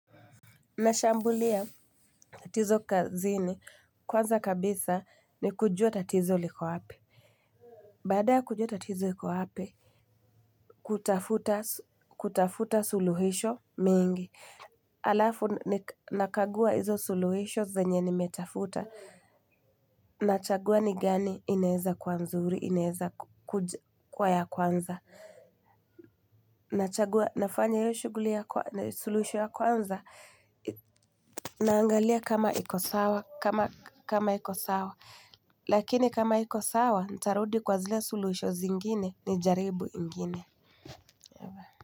Nashambulia tatizo kazini kwanza kabisa ni kujua tatizo liko hapa. Baada ya kujua tatizo iko wapi kutafuta suluhisho mingi. Alafu nakagua hizo suluhisho zenye nimetafuta. Nachagua ni gani inaeza kuwa nzuri, inaeza kuwa ya kwanza. Nachagua nafanya hiyo shughuli ya suluhisho ya kwanza naangalia kama iko sawa. Lakini kama aiko sawa ntarudi kwa zile suluhisho zingine nijaribu ingine.